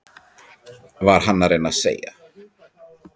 Var hann að reyna að segja